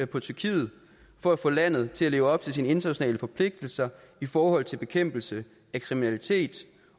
på tyrkiet for at få landet til at leve op til sine internationale forpligtelser i forhold til bekæmpelse af kriminalitet